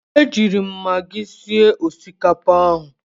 Ejiiri m magi sie osikapa ahụ.